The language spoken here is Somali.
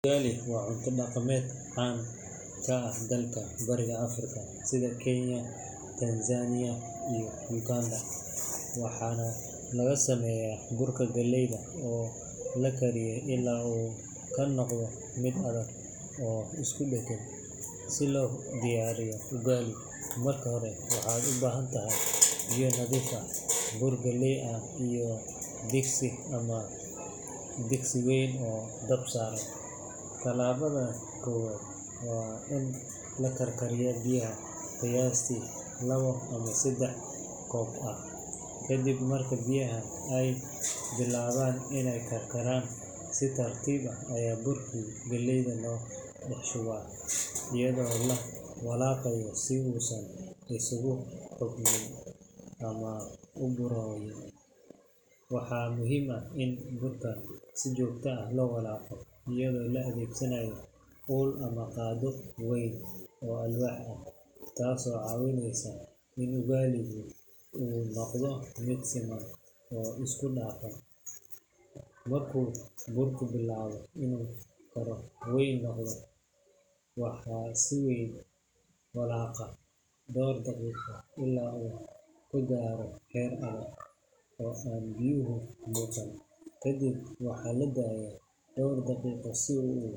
Ugali waa cunto dhaqameed caan ka ah dalalka Bariga Afrika sida Kenya, Tanzania iyo Uganda, waxaana laga sameeyaa burka galleyda oo la kariyo ilaa uu ka noqdo mid adag oo isku dheggan. Si loo diyaariyo ugali, marka hore waxaad u baahan tahay biyo nadiif ah, bur galley ah iyo digsi ama digsi wayn oo dab saaran. Talaabada koowaad waa in la karkariyo biyo qiyaastii labo ama saddex koob ah, kadib marka biyaha ay bilaabaan inay karkaraan, si tartiib ah ayaa burkii galleyda loo dhex shubaa iyadoo la walaaqayo si uusan u samaynin xumbo ama burooyin. Waxaa muhiim ah in burka si joogto ah loo walaaqo iyadoo la adeegsanayo ul ama qaaddo weyn oo alwaax ah, taasoo caawinaysa in ugali-gu uu noqdo mid siman oo isku dhafan. Markuu burku bilaabo inuu qaro weyn noqdo, waxaa la sii walaaqaa dhowr daqiiqo ilaa uu ka gaaro heer adag oo aan biyuhu muuqan. Kadib waxaa la daayaa dhowr daqiiqo si uu.